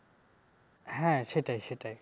হ্যাঁ সেটাই সেটাই